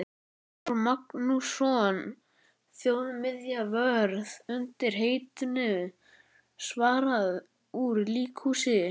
Þór Magnússon þjóðminjavörð undir heitinu Svarað úr líkhúsi.